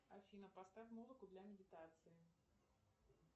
афина поставь музыку для медитации